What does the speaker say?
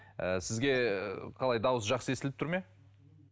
ы сізге қалай дауыс жақсы естіліп тұр ма